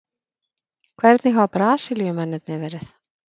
Hvernig hafa Brasilíumennirnir verið?